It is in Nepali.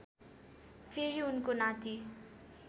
फेरि उनको नाति